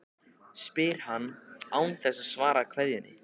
spyr hann, án þess að svara kveðjunni.